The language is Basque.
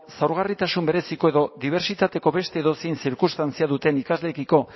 zaurgarritasun bereziko edo dibertsitateko beste edozein zirkunstantzia duten ikasleekiko